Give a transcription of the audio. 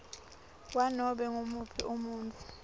kwanobe ngumuphi umuntfu